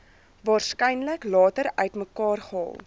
waarskynlik later uitmekaargehaal